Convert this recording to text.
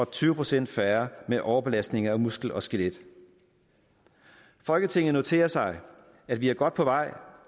tyve procent færre med overbelastninger af muskel og skelet folketinget noterer sig at vi er godt på vej